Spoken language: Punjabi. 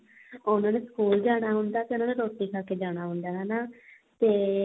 ਉਹਨਾ ਨੇ ਸਕੂਲ ਜਾਣਾ ਹੁੰਦਾ ਤੇ ਉਹਨਾਂ ਨੇ ਰੋਟੀ ਖਾਕੇ ਜਾਣਾ ਹੁੰਦਾ ਹਨਾ ਤੇ